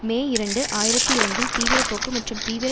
மே இரண்டு ஆயிரத்தி இரண்டில் தீவிரப்போக்கு மற்றும் தீவிர